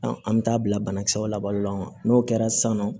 an bɛ taa bila banakisɛw labalo la n'o kɛra sisan nɔ